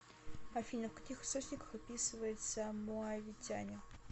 афина в каких источниках описывается моавитяне